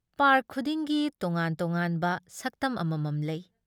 Park ꯈꯨꯗꯤꯡꯒꯤ ꯇꯣꯉꯥꯟ ꯇꯣꯉꯥꯟꯕ ꯁꯛꯇꯝ ꯑꯃꯃꯝ ꯂꯩ ꯫